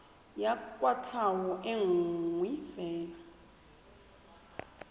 ya kwatlhao e nngwe fela